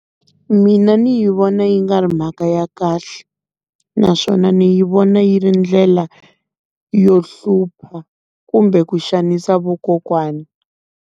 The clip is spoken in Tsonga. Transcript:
Mina ni yi vona yi nga ri mhaka ya kahle, naswona ni yi vona yi ri ndlela yo hlupha kumbe ku xanisa vakokwani.